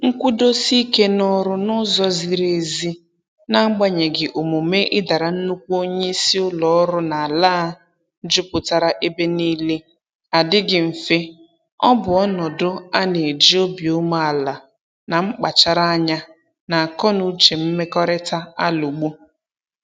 Nkwụdosike n'ọrụ n'ụzọ ziri ezi n'agbanyeghị omume ịdara nnukwu onye isi ụlọ ọrụ n'ala a juputara ebe niile adịghị mfe, ọ bụ ọnọdụ a na-eji obi umeala na mkpacharanya, na akọnuche mmekọrịta alụgbu